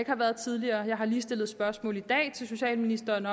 har været tidligere jeg har lige stillet spørgsmål til socialministeren